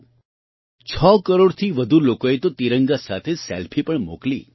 6 કરોડથી વધુ લોકોએ તો તિરંગા સાથે સેલ્ફી પણ મોકલી